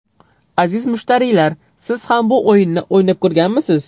Aziz mushtariylar, siz ham bu o‘yinni o‘ynab ko‘rganmisiz?